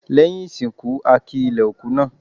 Lẹ́yìn ìsìnkú, a ki ilẹ̀ òkú náà.